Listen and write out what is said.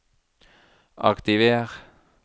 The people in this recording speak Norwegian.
aktiver